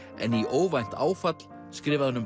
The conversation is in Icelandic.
en í óvænt áfall skrifaði hann um